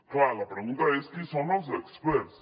clar la pregunta és qui són els experts